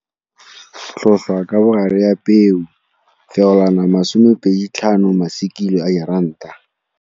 Tlhotlhwa ka bogare ya peo feolwana 25 kg a diranta.